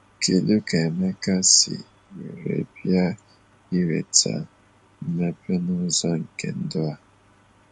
Kedu ka Emeka si were bia iweta mmepe n'ụzọ nke ndụ a?